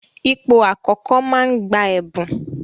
Ipò àkọ́kọ́ máa ń gba ẹ̀bùn.